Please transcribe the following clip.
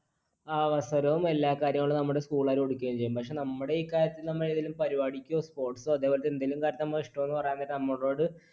അവസരവും എല്ലാകാര്യങ്ങളും നമ്മുടെ school കാർ കൊടുക്കുകയും ചെയ്യും. പക്ഷേ നമ്മുടെ ഈ കാര്യത്തിന് എന്തേലും പരിപാടിക്കോ sports സോ അതുപോലത്തെ എന്തെങ്കിലും കാര്യത്തിന് നമ്മൾ ഇഷ്ടമാണെന്ന് പറയാൻ നേരം നമ്മളോട്